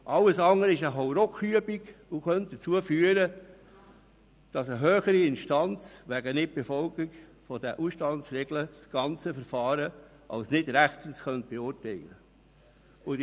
Alles andere ist eine Hauruck-Übung und könnte dazu führen, dass eine höhere Instanz das ganze Verfahren wegen Nicht-Befolgung dieser Ausstandsregelung als nicht rechtens beurteilen könnte.